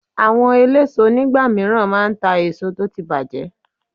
Àwọn eléso nígbà míràn máa ta èso tó ti bàjẹ́